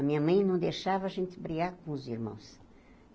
A minha mãe não deixava a gente brigar com os irmãos.